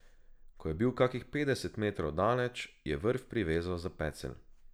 Ko je bil kakih petdeset metrov daleč, je vrv privezal na pecelj.